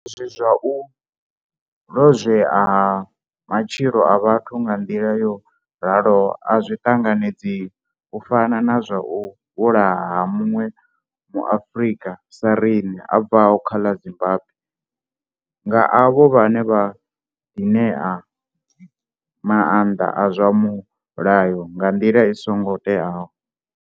Izwi zwa u lozwea ha matshilo a vhathu nga nḓila yo raloho a zwi ṱanganedzei, u fana na zwa u vhulawa ha muṅwe Muafrika sa riṋe a bvaho kha ḽa Zimbambwe nga avho vhane vha ḓiṋea maanḓa a zwa mulayo nga nḓila i songo teaho.